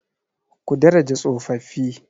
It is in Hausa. Ku daraja tsofaffi.